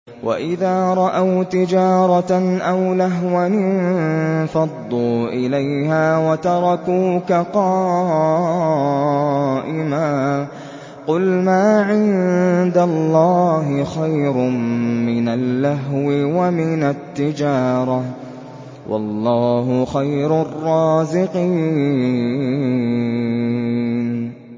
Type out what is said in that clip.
وَإِذَا رَأَوْا تِجَارَةً أَوْ لَهْوًا انفَضُّوا إِلَيْهَا وَتَرَكُوكَ قَائِمًا ۚ قُلْ مَا عِندَ اللَّهِ خَيْرٌ مِّنَ اللَّهْوِ وَمِنَ التِّجَارَةِ ۚ وَاللَّهُ خَيْرُ الرَّازِقِينَ